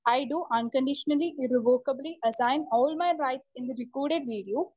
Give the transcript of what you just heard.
speaker 1 I do unconditionally irrevocably assign all my rights in the recorded video